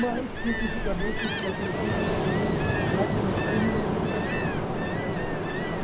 Mas, cientificamente, o século vinte vai começar em mil novecentos e quatorze, com a Primeira Guerra Mundial,